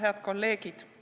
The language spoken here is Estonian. Head kolleegid!